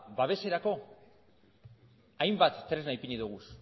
babeserako hainbat tresna ipini ditugu